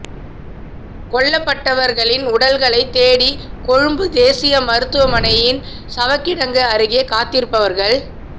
கொல்லப்பட்டவர்களின் உடல்களை தேடி கொழும்பு தேசிய மருத்துவமனையின் சவக்கிடங்கு அருகே காத்திருப்பவர்கள்